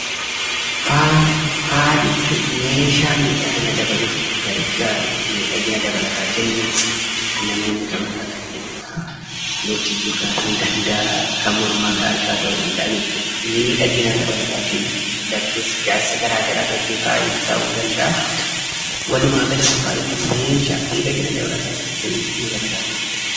Faaya jechuun meeshaa miidhagina dabaluuf gargaaru, miidhagina dabalataa kennuuf namoonni kan godhatan jechuudha. Lootii gurraa ta'uu danda'a, kan mormaa, kan harkaa ta'uu danda'a jechuudha. Miidhagina dabalataa kennuuf darbees ijaarsa garaa garaa irratti faayi ta'uu in danda'a. Walumaagalatti faayi jechuun meeshaa miidhagina dabalataa kennuuf nu gargaaru jechuudha.